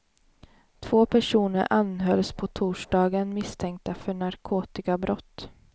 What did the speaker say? Två personer anhölls på torsdagen misstänkta för narkotikabrott.